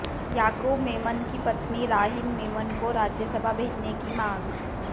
याकूब मेमन की पत्नी राहीन मेमन को राज्यसभा भेजने की मांग